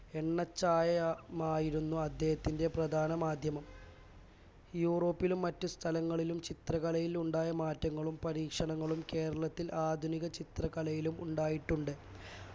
എണ്ണച്ചായമായിരുന്നു അദ്ദേഹത്തിന്റെ പ്രധാന മാധ്യമം Europe ലും മറ്റ് സ്ഥലങളിലും ചിത്രകലയിൽ ഉണ്ടായ മാറ്റങ്ങളും പരീക്ഷണങ്ങളും കേരളത്തിൽ ആധുനിക ചിത്രകലയിലും ഉണ്ടായിട്ടുണ്ട്